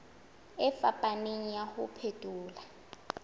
e fapaneng ya ho phethola